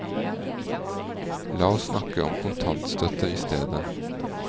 La oss snakke om kontantstøtte i stedet.